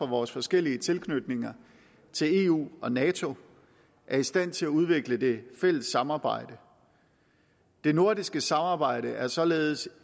vores forskellige tilknytninger til eu og nato er i stand til at udvikle det fælles samarbejde det nordiske samarbejde er således